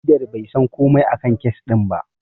Shaidar bai san komai a kan kes ɗin ba.